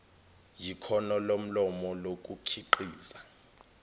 yikhono lomlomo lokukhiqiza